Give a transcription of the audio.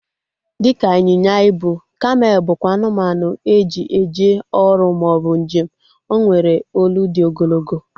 Dịka ịnyịnya ibu, kamel bụkwa anụmanụ e ji eje ọrụ maọbụ njem. O nwere olu dị ogologo